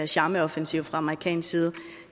charmeoffensiv fra amerikansk side